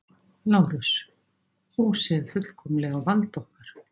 LÁRUS: Húsið er fullkomlega á valdi okkar.